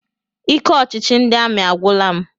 Ike ọchịchị ndị amị agwụla m.